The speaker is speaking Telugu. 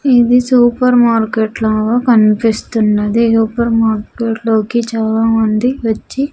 ఇది సూపర్ మార్కెట్ లాగా కనిపిస్తున్నది సూపర్ మార్కెట్ లోకి చాలామంది వచ్చి.